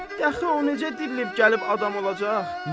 Dəxi o necə dirilib gəlib adam olacaq?